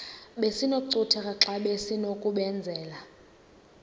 besinokucutheka xa besinokubenzela